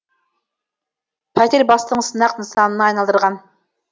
пәтер бастығын сынақ нысанына айналдырған